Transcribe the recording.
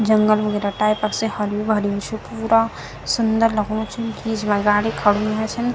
जंगल वगेरह टाईपक से हरयू भरयु च पूरा सुंदर लगणू छीन बीच मा गाडी खडी हुई छन।